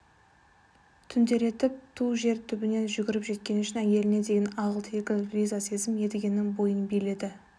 түнделетіп ту жер түбінен жүгіріп жеткені үшін әйеліне деген ағыл-тегіл риза сезім едігенің бойын биледі